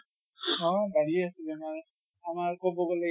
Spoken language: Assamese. অʼ বাঢ়ি আছে বেমাৰ। আমাৰ কʼব গʼলে